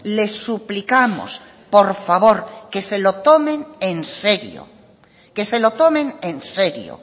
les suplicamos por favor que se lo tomen en serio que se lo tomen en serio